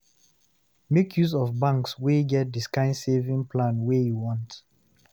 Make use of banks wey get the kind saving plan wey you want